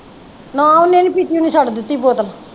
ਨਾ ਉਹਨਾਂ ਦੀ ਪੀਤੀ ਨੇ ਛੱਡ ਦਿੱਤੀ ਬੋਤਲ